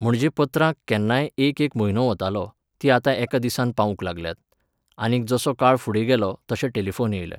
म्हणजे पत्रांक केन्नाय एक एक म्हयनो वयतालो, तीं आतां एक दिसांत पावूंक लागल्यांत. आनीक जसो काळ फुडें गेलो तशे टेलिफोन येयले.